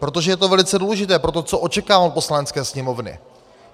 Protože je to velice důležité pro to, co očekávám od Poslanecké sněmovny.